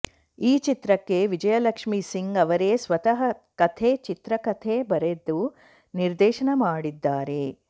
ಈ ಚಿತ್ರಕ್ಕೆ ವಿಜಯಲಕ್ಷ್ಮಿ ಸಿಂಗ್ ಅವರೇ ಸ್ವತಃ ಕಥೆ ಚಿತ್ರಕಥೆ ಬರೆದು ನಿರ್ದೇಶನ ಮಾಡಿದ್ದಾರೆ